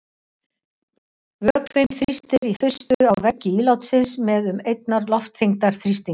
Vökvinn þrýstir í fyrstu á veggi ílátsins með um einnar loftþyngdar þrýstingi.